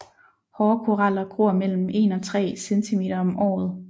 Hårde koraller gror mellem en og tre centimeter om året